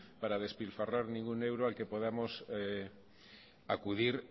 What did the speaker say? para despilfarrar ningún euro al que podamos acudir